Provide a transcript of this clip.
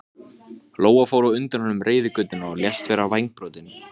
Kjartan myndi taka þessu með jafnaðargeði.